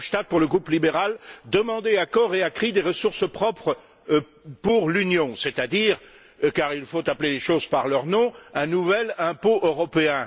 Verhofstadt, pour le groupe libéral, demander à cor et à cri des ressources propres pour l'Union, c'est à dire car il faut appeler les choses par leur nom un nouvel impôt européen.